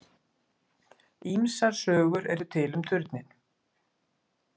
Ýmsar sögur eru til um turninn.